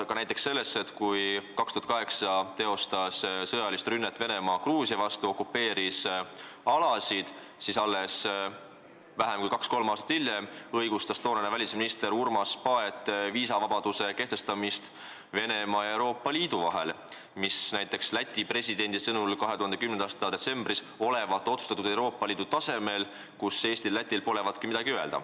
Ka näiteks see, et kui Venemaa 2008. aastal teostas sõjalist rünnet Gruusia vastu ja okupeeris alasid, siis kaks-kolm aastat hiljem õigustas toonane välisminister Urmas Paet ettepanekut kehtestada viisavabadus Venemaa ja Euroopa Liidu vahel, mis näiteks Läti presidendi 2010. aasta detsembris öeldu kohaselt olevat otsustatud Euroopa Liidu tasemel, kus Eestil ja Lätil polevatki midagi öelda.